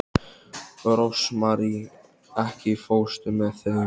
Rósmarý, ekki fórstu með þeim?